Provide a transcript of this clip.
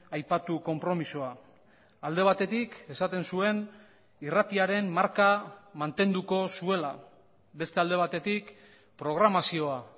aipatu konpromisoa alde batetik esaten zuen irratiaren marka mantenduko zuela beste alde batetik programazioa